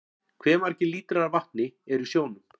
Hve margir lítrar af vatni eru í sjónum?